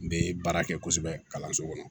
N bɛ baara kɛ kosɛbɛ kalanso kɔnɔ